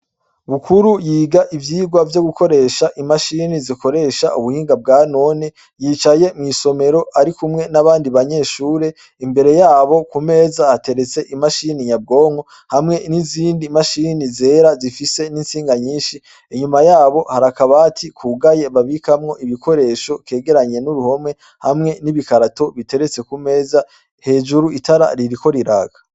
Bukuru yiga ivyirwa vyo gukoresha imashini zikoresha ubuhinga bwa none yicaye mw'isomero ari kumwe n'abandi banyeshure imbere yabo ku meza hateretse imashini nyabwonko hamwe n'izindi mashini zera zifise n'intsinga nyinshi hanyuma yabo harakabati kugaye babikamwo ibikoresho kegeranye n'uruhome hamwe n'ibikarato biteretse ku meza hejuru itara ririko riraka.